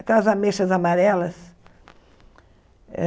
Aquelas ameixas amarelas. Eh